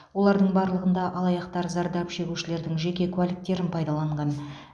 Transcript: олардың барлығында алаяқтар зардап шегушілердің жеке куәліктерін пайдаланған